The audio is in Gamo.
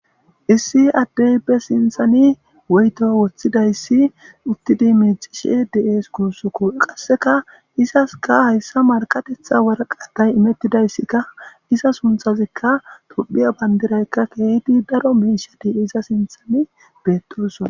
Issi addey be sinthani weyto woththidayssi uttidi miixishe de7ees kuussokko qasseka izaska hayssa markatetha waraqatay imettidayssikka iza sunthazikka tophiya bandiraykka keehdi daro miishadi iza sinthani beetosona.